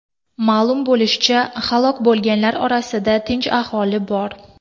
Ma’lum bo‘lishicha, halok bo‘lganlar orasida tinch aholi bor.